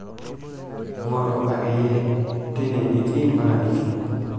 ing'oru ake iyie tine nitii mpaka nitum